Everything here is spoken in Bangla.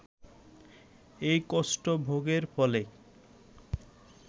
এই কষ্ট ভোগের ফলে